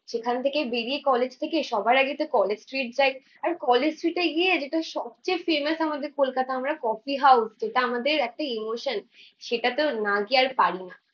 সেখান থেকে বেরিয়ে কলেজ থেকে সবার আগেতো কলেজস্ট্রিট যায়। আর কলেজস্ট্রিটে গিয়ে যেটা সবচেয়ে ফেমাস আমাদের কলকাতার, কফি হাউস। যেটা আমাদের একটা ইমোশন, সেটাতে না গিয়ে আর পারিনা।